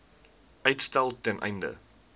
uitstel ten einde